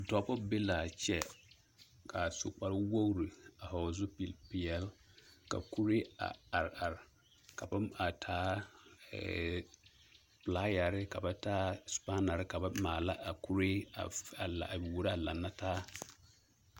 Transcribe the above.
Dɔbɔ be laa kyɛ kaa su kpare wogre a vɔgle peɛle ka kuree a are are ka ba a taare ɛɛ pilayare ka ba taa sipããnare ka ba maala a kuree a f a wuoro a laŋna taa.